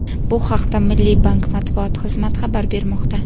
Bu haqda Milliy bank matbuot xizmati xabar bermoqda .